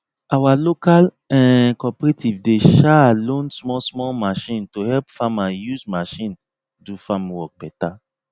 our local um cooperative dey um loan small small machine to help farmer use machine do farm work better